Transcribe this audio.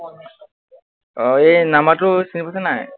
আহ এই number টো চিনি পাইছ নাই?